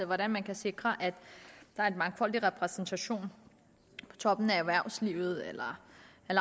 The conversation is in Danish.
hvordan man kan sikre at der er en mangfoldig repræsentation på toppen af erhvervslivet eller